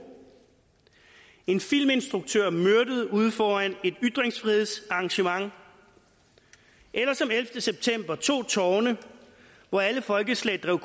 en filminstruktør myrdet ude foran et ytringsfrihedsarrangement eller som ellevte september to tårne hvor alle folkeslag drev